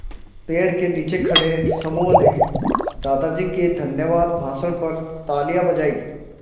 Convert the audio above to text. पेड़ के नीचे खड़े समूह ने दादाजी के धन्यवाद भाषण पर तालियाँ बजाईं